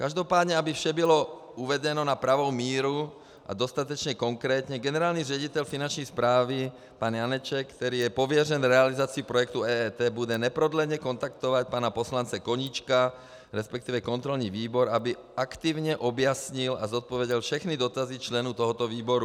Každopádně aby vše bylo uvedeno na pravou míru a dostatečně konkrétně, generální ředitel Finanční správy pan Janeček, který je pověřen realizací projektu EET, bude neprodleně kontaktovat pana poslance Koníčka, respektive kontrolní výbor, aby aktivně objasnil a zodpověděl všechny dotazy členů tohoto výboru.